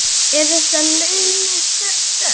Eru þetta launuð störf?